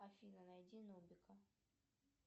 афина найди нубика